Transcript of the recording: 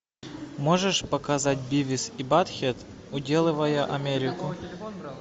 можешь показать бивис и баттхед уделывают америку